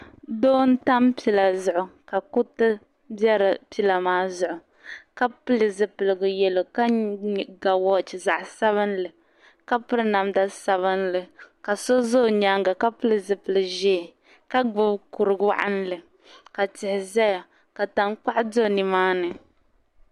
Doo n tam pila zuɣu kuriti be pila maa zuɣu ka pili zipiligu yelɔw ka ga wɔch zaɣisabinli ka piri namda sabinli , ka so ʒɛ ɔnyaaŋa kapili zipiliʒɛɛ ka gbubi kuri waɣinli ka tihi ʒaya ka tankpaɣu do nimaani.